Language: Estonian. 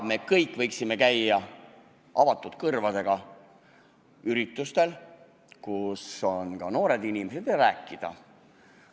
Me kõik võiksime noorteüritustel lahtiste kõrvadega käia ja noortega rääkida.